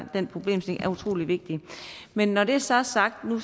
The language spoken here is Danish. den problemstilling er utrolig vigtig men når det så er sagt og nu